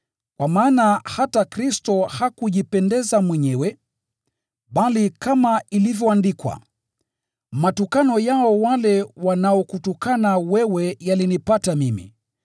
Kwa maana hata Kristo hakujipendeza mwenyewe, bali kama ilivyoandikwa: “Matukano yao wale wanaokutukana wewe yalinipata mimi.”